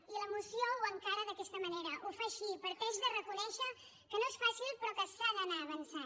i la moció ho encara d’aquesta manera ho fa així parteix de reconèixer que no és fàcil però que s’ha d’anar avançant